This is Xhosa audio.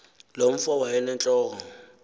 loo mfo wayenentloko